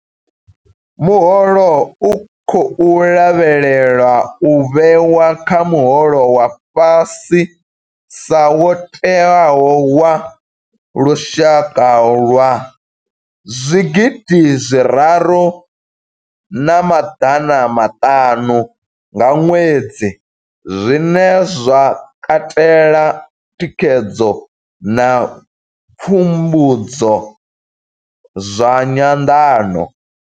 Muholo u khou lavhelelwa u vhewa kha muholo wa fhasisa wo tewaho wa lushaka wa zwigidi zwiraru na maḓana maṱanu nga ṅwedzi, zwine zwa katela thikhedzo na pfumbudzo zwa nyanḓano.